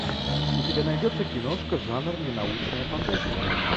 у тебя найдется киношка жанр не научная фантастика